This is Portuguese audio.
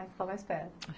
Aí ficou mais perto?